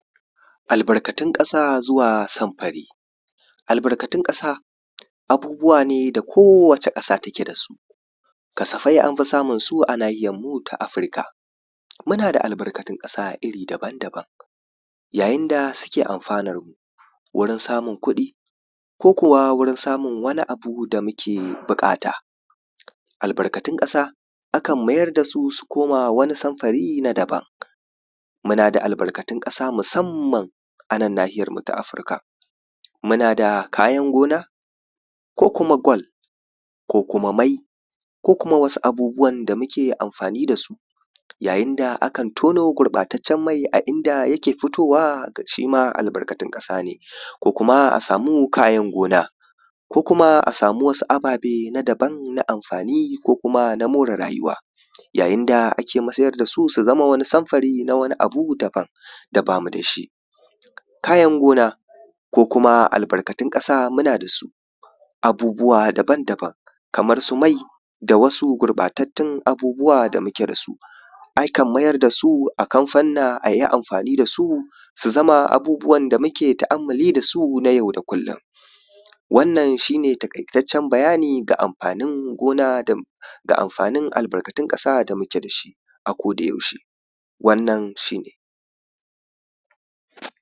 Albarkatun ƙasa zuwa samfare, albarkatun ƙasa abubuwa ne da kowace ƙasa take da su. Kasafai an fi samunsu a nahiyarmu ta Afirka, muna da albarkatun ƙasa iri daban-daban yayin da suke amfanar mu, wurin samun kuɗi ko kuma wurin samun wani abu da muke buƙata. Albarkatun ƙasa a kan mayar da su, su koma wani samfari na daban, muna da albarkatun ƙasa musamman a nan nahiyarmu ta Afirka, muna da kayan gona ko kuma gwal ko kuma mai ko kuma wasu abubuwan da muke amfani da su, yayin da ake tono gurɓataccen mai, a inda yake fitowa shi ma albarkatun ƙasa ne, ko kuma a samu amfanin gona ko kuma a samu wasu ababe na daban na amfani ko kuma na more rayuwa. Yayin da ake masayar da su, su zama wasu samfari na wani abu na daban da ba mu da shi. kayan gona ko kuma albarkatun ƙasa muna da su, abubuwa daban-daban kamar su mai da wasu gurɓatattun abubuwa da muke da su, a kan mayar da su a kamfanna, a yi amfani da su, su zama abubuwan da muke ta’ammali da su na yau da kullum. Wannan shi ne taƙaitaccen bayani ga amfanin gona da da amfanin albarkatun ƙasa da muke da shi a kodayaushe, wannan shi ne.